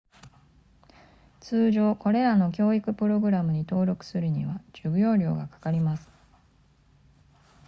通常これらの教育プログラムに登録するには授業料がかかります